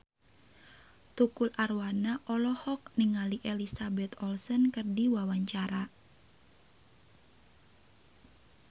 Tukul Arwana olohok ningali Elizabeth Olsen keur diwawancara